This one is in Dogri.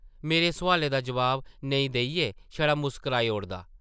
मेरे सोआलें दा जवाब नेईं देइयै छड़ा मुस्कराई ओड़दा ।